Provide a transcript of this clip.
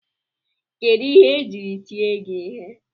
Kedụ ihe ejiri tie gị ihe?